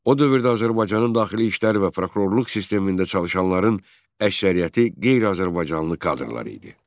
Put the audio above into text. O dövrdə Azərbaycanın daxili işlər və prokurorluq sistemində çalışanların əksəriyyəti qeyri-Azərbaycanlı kadrlar idi.